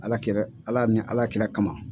Ala kera Ala ni Ala kira kama.